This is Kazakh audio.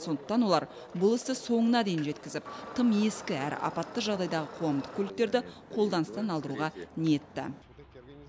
сондықтан олар бұл істі соңына дейін жеткізіп тым ескі әрі апатты жағдайдағы қоғамдық көліктерді қолданыстан алдыруға ниетті